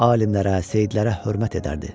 Alimlərə, seyyidlərə hörmət edərdi.